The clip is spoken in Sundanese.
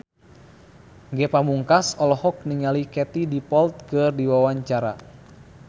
Ge Pamungkas olohok ningali Katie Dippold keur diwawancara